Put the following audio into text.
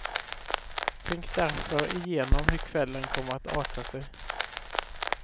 Tänk därför igenom hur kvällen kommer att arta sig.